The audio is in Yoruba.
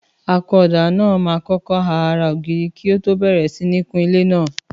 Àkúnọdà nà mà ọkọ à àrá ògirí kọ tọ bẹẹrẹ sín ní kún ìlẹ nà.